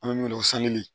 An bɛ min fɔ